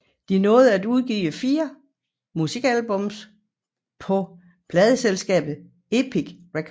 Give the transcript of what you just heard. De nåede at udgive 4 musikalbumpå pladeselskabet Epic Records